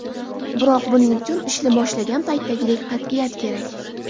Biroq buning uchun ishni boshlagan paytdagidek qat’iyat kerak.